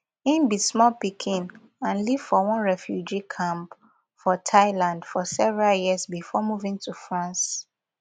im be small pikin and live for one refugee camp for thailand for several years before moving to france